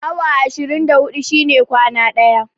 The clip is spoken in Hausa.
Awa ashirin da huɗu shine kwana ɗaya